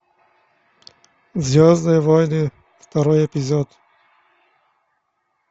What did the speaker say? звездные войны второй эпизод